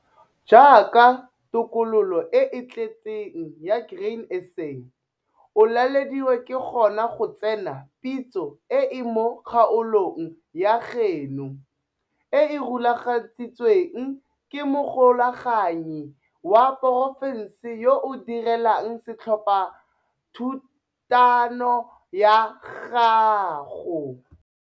Jaaka tokololo e e tletseng ya Grain SA, o lalediwa ke gona go tsena pitso e e mo kgaolong ya gaeno, e e rulagantsweng ke mogokaganyi wa porofense yo o direlang setlhophathutano sa gago.